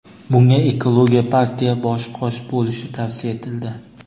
Bunga Ekologiya partiya bosh-qosh bo‘lishi tavsiya etildi.